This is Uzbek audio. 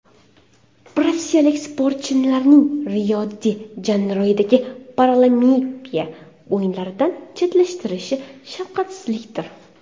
Rossiyalik sportchilarning Rio-de-Janeyrodagi Paralimpiya o‘yinlaridan chetlashtirilishi shafqatsizlikdir.